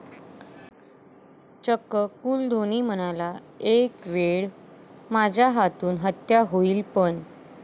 चक्क कूल धोनी म्हणाला, एकवेळ माझ्या हातून हत्या होईल पण....